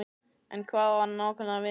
En hvað á hann nákvæmlega við?